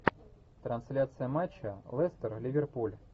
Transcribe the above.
трансляция матча лестер ливерпуль